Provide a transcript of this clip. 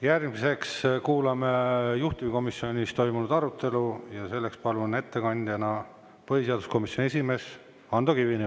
Järgmiseks kuulame juhtivkomisjonis toimunud arutelu ja selleks palun ettekandjaks põhiseaduskomisjoni esimehe Ando Kivibergi.